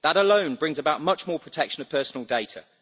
That alone brings about much more protection of personal data.